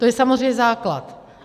To je samozřejmě základ.